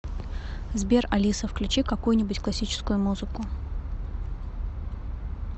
сбер алиса включи какую нибудь классическую музыку